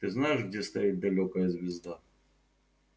ты знаешь где стоит далёкая звезда